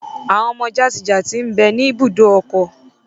Àwọn ọmọ jatijati mbẹ ni ibùdó ọkọ̀.